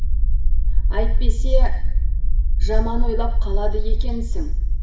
әйтпесе жаман ойлап қалады екенсің